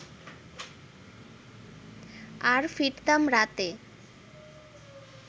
আর ফিরতাম রাতে